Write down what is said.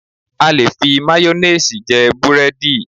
A lè fi máyónéèsì jẹ búrẹ́dì